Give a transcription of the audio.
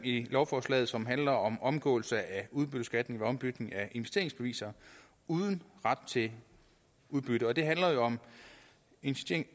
i lovforslaget som handler om omgåelse af udbytteskat ved ombytning af investeringsbeviser uden ret til udbytte og det handler jo om